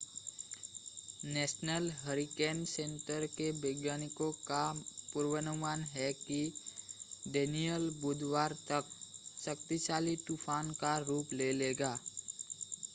national Hurricane Center के वैज्ञानिकों का पूर्वानुमान है कि डेनियल बुधवार तक शक्तिशाली तूफ़ान का रूप ले लेगा